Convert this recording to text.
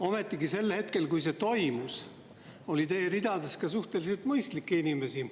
Ometigi sel hetkel, kui see toimus, oli teie ridades ka suhteliselt mõistlikke inimesi.